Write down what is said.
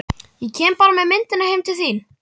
Ég kem bara með myndirnar heim til þín.